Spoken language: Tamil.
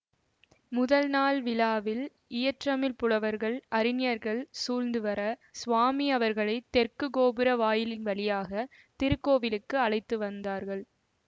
முதல் நாள் விழாவில் இயற்றமிழ்ப்புலவர்கள் அறிஞர்கள் சூழ்ந்து வர சுவாமி அவர்களை தெற்கு கோபுர வாயிலின் வழியாக திருக்கோவிலுக்கு அழைத்து வந்தார்கள்